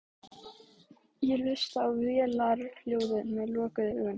Ég hlusta á vélarhljóðið með lokuðum augum.